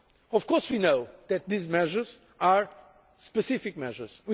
Of course we know that these measures are specific measures.